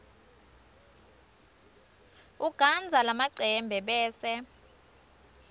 ugandza lamacembe bese